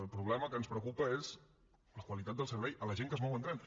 el problema que ens preocupa és la qualitat del servei a la gent que es mou amb tren